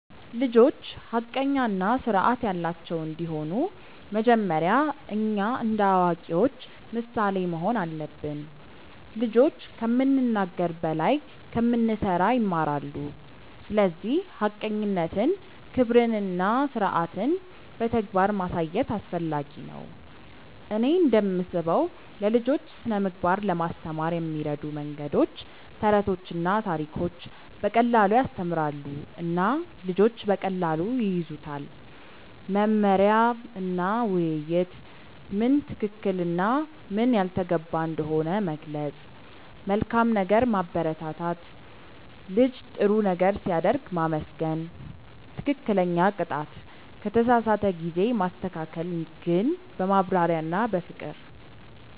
ልጆች ሐቀኛ እና ስርዓት ያላቸው እንዲሆኑ መጀመሪያ እኛ እንደ አዋቂዎች ምሳሌ መሆን አለብን። ልጆች ከምንናገር በላይ ከምንሠራ ይማራሉ፤ ስለዚህ ሐቀኝነትን፣ ክብርን እና ስርዓትን በተግባር ማሳየት አስፈላጊ ነው። እኔ እንደምስበው ለልጆች ስነ ምግባር ለማስተማር የሚረዱ መንገዶች፦ ተረቶችና ታሪኮች –> በቀላሉ ያስተምራሉ እና ልጆች በቀላሉ ይያዙታል። መመሪያ እና ውይይት –> ምን ትክክል እና ምን ያልተገባ እንደሆነ መግለጽ። መልካም ነገር ማበረታት –> ልጅ ጥሩ ነገር ሲያደርግ ማመስገን። ትክክለኛ ቅጣት –> ከተሳሳተ ጊዜ ማስተካከል ግን በማብራሪያ እና በፍቅር።